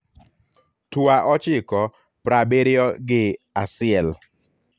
tua ochiko praabirio gi aciel